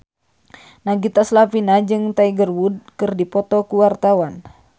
Nagita Slavina jeung Tiger Wood keur dipoto ku wartawan